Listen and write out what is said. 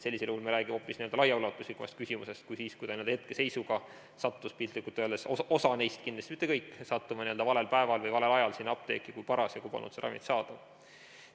Sellisel juhul me räägiksime hoopis laiaulatuslikumast küsimusest kui siis, kui hetkeseisuga sattus, piltlikult öeldes, osa neist, kindlasti mitte kõik, valel päeval või valel ajal sinna apteeki, kui parasjagu polnud seda ravimit saadaval.